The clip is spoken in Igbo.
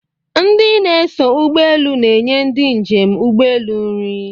Ndi na-eso ụgbọeelu na-enye ndi njem ụgbọeelu nri